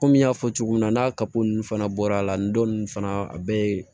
Komi n y'a fɔ cogo min na n'a ka ko ninnu fana bɔra a la nin don ninnu fana a bɛ